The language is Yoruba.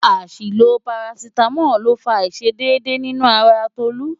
Àṣìlò parasítámọ̀ ló fa àìṣedédé nínú ara Tolú.